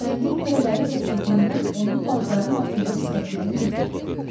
Tüfəngin lülələri kəsildiyindən onu paltarın altında gizlətmək mümkündür.